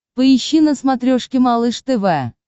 поищи на смотрешке малыш тв